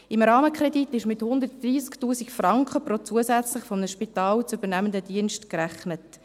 Im Rahmenkredit wurde mit 130 000 Franken pro zusätzlich von einem Spital zu übernehmendem Dienst gerechnet.